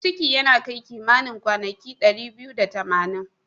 Ciki yana kai kimanin kwanaki dari biyu da tamanin.